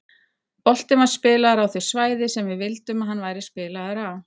Boltinn var spilaður á þau svæði sem við vildum að hann væri spilaður á.